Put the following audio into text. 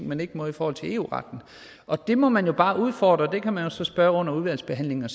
man ikke må i forhold til eu retten og det må man jo bare udfordre det kan man jo så spørge til under udvalgsbehandlingen